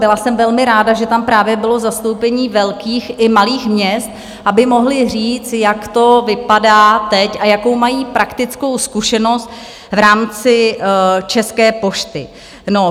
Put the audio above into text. Byla jsem velmi ráda, že tam právě bylo zastoupení velkých i malých měst, aby mohli říct, jak to vypadá teď a jakou mají praktickou zkušenost v rámci České pošty.